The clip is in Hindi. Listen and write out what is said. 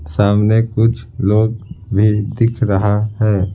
सामने कुछ लोग भी दिख रहा है।